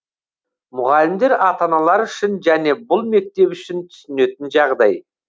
мұғалімдер ата аналар үшін және бұл мектеп үшін түсінетін жағдай